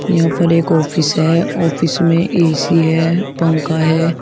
यहां पर एक ऑफिस है ऑफिस में ए_सी है पंखा है।